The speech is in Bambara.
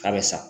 K'a bɛ sa